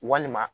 Walima